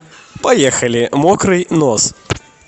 поехали мокрый нос